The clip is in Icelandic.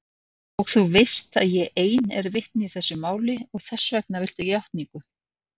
Og þú veist að ég ein er vitni í þessu máli og þessvegna viltu játningu.